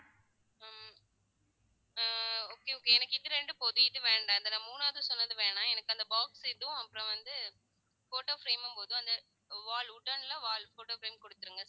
உம் ah okay okay எனக்கு இது இரண்டு போதும் இது வேண்டாம் இதை நான் மூணாவது சொன்னது வேணாம் எனக்கு அந்த box இதுவும் அப்புறம் வந்து photo frame உம் போதும் அந்த wallwooden ல wall photo frame கொடுத்திருங்க